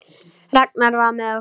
Ragnar var með okkur.